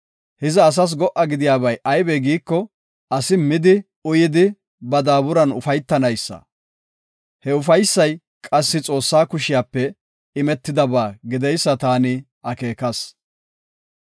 Hiza asas go77a gidiyabay aybe giiko, asi midi uyidi ba daaburan ufaytanaysa. He ufaysay qassi Xoossaa kushiyape imetidaba gideysa taani akeekas.